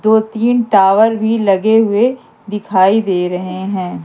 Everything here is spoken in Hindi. दो तीन टावर भी लगे हुए दिखाई दे रहे हैं।